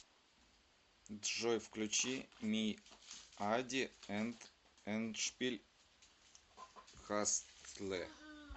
джой включи миади энд эндшпиль хастле